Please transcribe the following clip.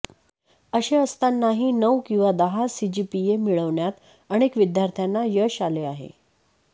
असे असतानाही नऊ किंवा दहा सीजीपीए मिळवण्यात अनेक विद्यार्थ्यांना यश आले आहे